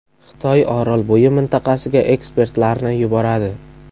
Xitoy Orolbo‘yi mintaqasiga ekspertlarni yuboradi .